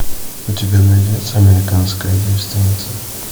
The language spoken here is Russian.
у тебя найдется американская девственница